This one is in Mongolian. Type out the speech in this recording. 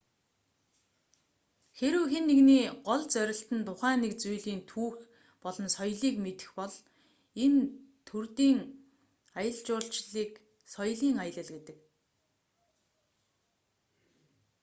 хэрэв хэн нэгний гол зорилт нь тухайн нэг зүйлийн түүх болон соёлыг мэдэх бол энэ төрдийн аялал жуулчлалыг соёлийн аялал гэдэг